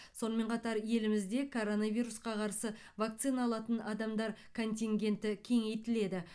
сонымен қатар елімізде коронавирусқа қарсы вакцина алатын адамдар контингенті кеңейтіледі